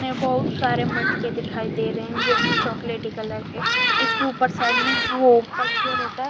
बहुत सारे मटके दिखाई देरहे है जो की चोकलेटी कलर उसके उपर साइड में वो उपर जो रेता है।